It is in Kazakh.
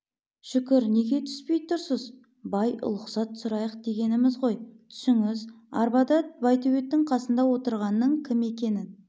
шүкір неге түспей тұрсыз бай ұлықсат сұрайық дегеніміз ғой түсіңіз арбада байтөбеттің қасында отырғанның кім екенін